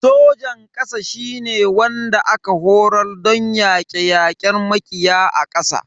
Sojan kasa shine wanda aka horar don yake yakar makiya a ƙasa.